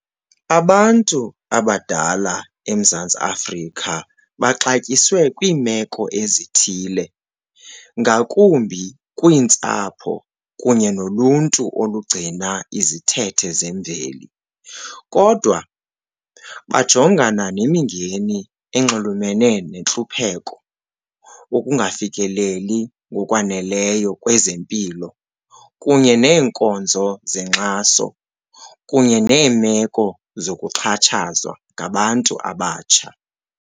Abantu abadala eMzantsi Afrika baxatyiswe kwiimeko ezithile ngakumbi kwiintsapho kunye noluntu olugcina izithethe zemveli. Kodwa bajongana nemingeni enxulumene nentlupheko, ukungafikeleli ngokwaneleyo kwezempilo kunye neenkonzo zenkxaso kunye neemeko zokuxhatshazwa ngabantu abatsha.